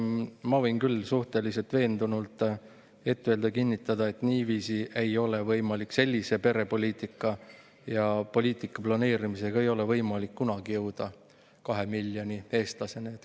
Ma võin küll suhteliselt veendunult öelda ja kinnitada, et niiviisi ei ole võimalik, sellise perepoliitika ja poliitika planeerimisega ei ole võimalik kunagi jõuda 2 miljoni eestlaseni.